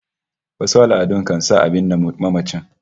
Wasu al'adun kan sa a binne mamaci